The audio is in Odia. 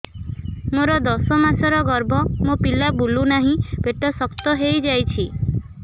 ମୋର ଦଶ ମାସର ଗର୍ଭ ମୋ ପିଲା ବୁଲୁ ନାହିଁ ପେଟ ଶକ୍ତ ହେଇଯାଉଛି